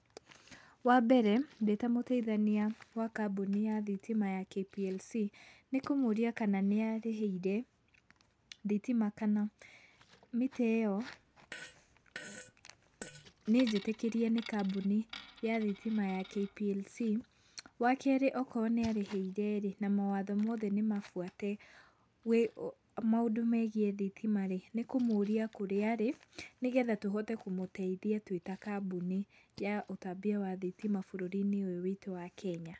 Wambere ndĩ ta mũteithania wa kambũni ya thitima ya KPLC nĩ kũmũria kana nĩarĩhĩire thitima kana mita ĩyo nĩnjĩtĩkĩrie nĩ kambũni ya thitima ya KPLC. Wakerĩ okorwo nĩarĩhĩire-rĩ na mawatho mothe nĩmabuate maũndũ megiĩ thitima-rĩ, nĩkũmũria kũrĩa arĩ nĩgetha tũhote kũmũteithia twĩ ta kambũni ya ũtambia wa thitima bũrũri-inĩ ũyũ witũ wa Kenya.